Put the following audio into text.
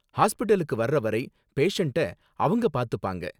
ஹாஸ்பிடலுக்கு வர்ற வரை பேசண்ட்ட அவங்க பாத்துப்பாங்க.